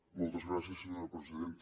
moltes gràcies senyora presidenta